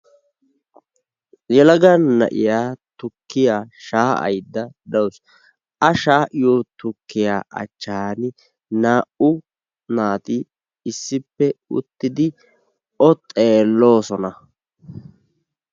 yelaga na"iya tukkiya shaa"ayda dawusu. a shaa'iyo tukkiya achaani naa"u naati issippe uttidi o xeeloososna.